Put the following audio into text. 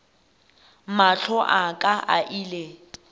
mahlo a ka a ile